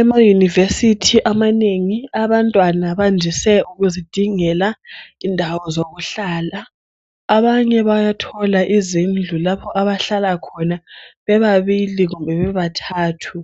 Ema University amanengi abantwana bandise ukuzi dingela indawo zokuhlala abanye bayathola izindlu lapho abahlala khona bebabili kumbe bebathathu